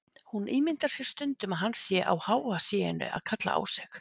Hún ímyndar sér stundum að hann sé á háa sé-inu að kalla á sig.